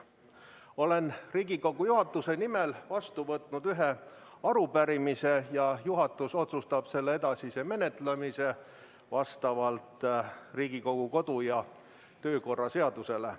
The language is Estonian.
Olen Riigikogu juhatuse nimel vastu võtnud ühe arupärimise ja juhatus otsustab selle edasise menetlemise vastavalt Riigikogu kodu- ja töökorra seadusele.